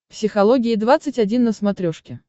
психология двадцать один на смотрешке